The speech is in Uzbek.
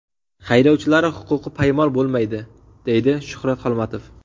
Haydovchilari huquqi poymol bo‘lmaydi”, deydi Shuhrat Xolmatov.